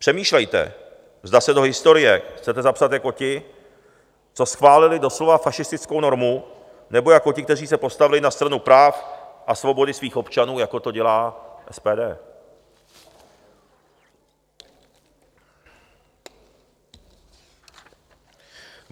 Přemýšlejte, zda se do historie chcete zapsat jako ti, co schválili doslova fašistickou normu, nebo jako ti, kteří se postavili na stranu práv a svobody svých občanů, jako to dělá SPD.